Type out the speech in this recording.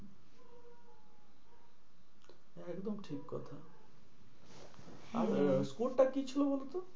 একদম ঠিক কথা হ্যাঁ আর আহ score টা কি ছিল বলতো?